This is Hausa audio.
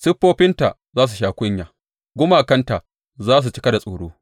Siffofinta za su sha kunya gumakanta za su cika da tsoro.’